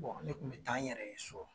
Ne kun mɛ taa n yɛrɛ ye so